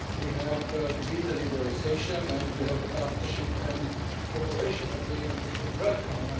We have the visa liberalisation and we have the partnership and cooperation agreement we should work on.